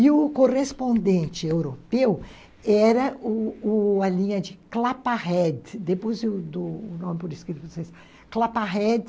E o o o correspondente europeu era era a linha de Clapahead, depois do nome por escrito, Clapahead,